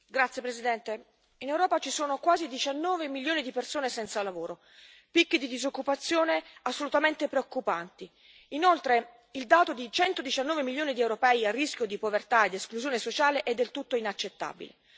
Signor Presidente, onorevoli colleghi, in Europa ci sono quasi 19 milioni di persone senza lavoro, con picchi di disoccupazione assolutamente preoccupanti. Inoltre il dato di 119 milioni di europei a rischio di povertà e di esclusione sociale è del tutto inaccettabile.